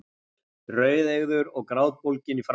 Rauðeygður og grátbólginn í framan.